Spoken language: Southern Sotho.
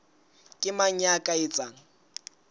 ke mang ya ka etsang